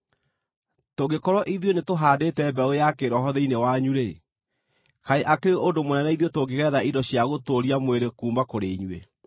Tũngĩkorwo ithuĩ nĩtũhaandĩte mbeũ ya kĩĩroho thĩinĩ wanyu-rĩ, kaĩ akĩrĩ ũndũ mũnene ithuĩ tũngĩgetha indo cia gũtũũria mwĩrĩ kuuma kũrĩ inyuĩ?